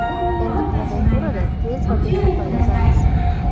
Endi klaviaturada tez va bexato yozamiz!.